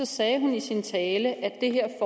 sagde hun i sin tale at det her